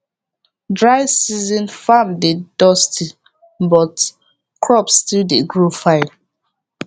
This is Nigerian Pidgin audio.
dry season farm dey dusty but crops still dey grow fine